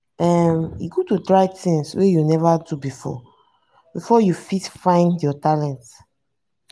um e good to try things wey you neva do before you fit find your talent.